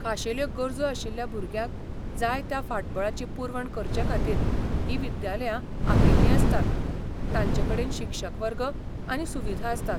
खाशेल्यो गरजो आशिल्ल्या भुरग्यांक जाय त्या फाटबळाची पुरवण करचेखातीर हीं विद्यालयां आंखिल्लीं आसतात, तांचेकडेन शिक्षक वर्ग आनी सुविधा आसतात.